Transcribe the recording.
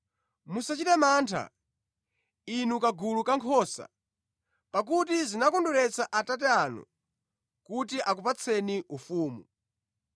“Musachite mantha, inu kagulu kankhosa, pakuti zinakondweretsa Atate anu kuti akupatseni ufumu.